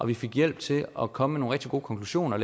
vi fik hjælp til at komme med nogle rigtig gode konklusioner